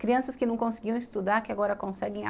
Crianças que não conseguiam estudar, que agora conseguem.